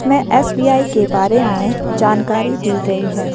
में एस_बी_आई के बारे में जानकारी दी गई है।